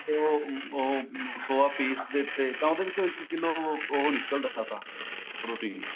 kilo soya ਪੀਸਦੇ ਤੇ ਤਾਂ ਉਹਦੇ ਵਿੱਚੋ ਉਹ ਨਿਕਲਦਾ ਤਾਂ protein